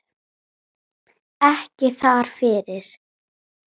Ekki þar fyrir.